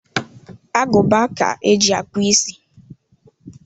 Aguba ka eji akpu isi.